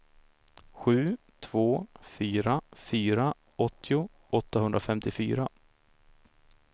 sju två fyra fyra åttio åttahundrafemtiofyra